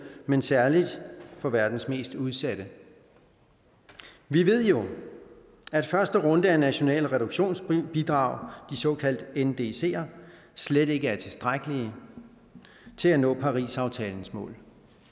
men særlig for verdens mest udsatte vi ved jo at første runde af de nationale reduktionsbidrag de såkaldte ndc’er slet ikke er tilstrækkelig til at nå parisaftalens mål